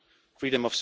is possible.